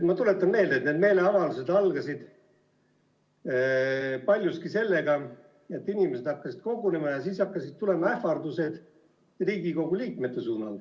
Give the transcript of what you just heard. Ma tuletan meelde, et need meeleavaldused algasid paljuski sellega, et inimesed hakkasid kogunema ja siis hakkasid tulema ähvardused Riigikogu liikmete suhtes.